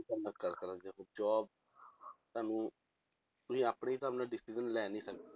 Job ਤੁਹਾਨੂੰ ਤੁਸੀਂ ਆਪਣੇ ਹਿਸਾਬ ਨਾਲ decision ਲੈ ਨੀ ਸਕਦੇ।